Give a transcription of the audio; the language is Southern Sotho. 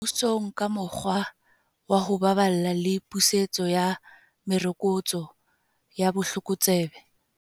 Mmusong ka mokgwa wa ho baballa le pusetso ya merokotso ya botlokotsebe.